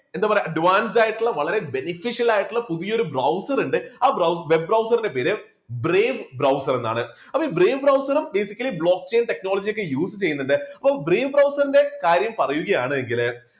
എന്താ പറയുക advanced ആയിട്ടുള്ള വളരെ beneficial ആയിട്ടുള്ള പുതിയൊരു browser ഉണ്ട് ആ web browser ന്റെ പേര് brave browser എന്നാണ് അപ്പോ ഈ brave browser ഉം basically block chain technology ഒക്കെ use ചെയ്യുന്നുണ്ട് അപ്പൊ brave browser ന്റെ കാര്യം പറയുകയാണെങ്കില്